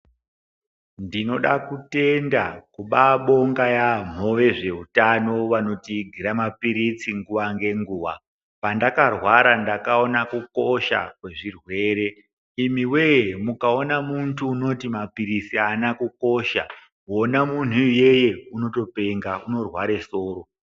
Ndinoda kutenda, kubabonga yaamho vezvehutano vanotiigira mapiritsi nguwa ngenguwa. Pandakarwara ndakawona kukosha kwezvirwere, imiwee! mukawona muntu unoti mapirisi haana kukosha ,wona munhu iyeye unotopenga ,unorware soro.